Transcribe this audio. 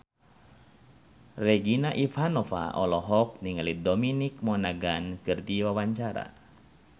Regina Ivanova olohok ningali Dominic Monaghan keur diwawancara